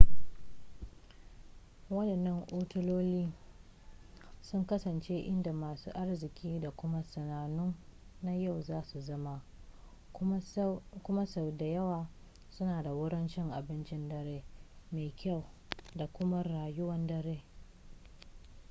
waɗannan otaloli sun kasance inda masu arziki da kuma sanannu na yau za su zama kuma sau da yawa suna da wurin cin abincin dare mai kyau da kuma rayuwar dare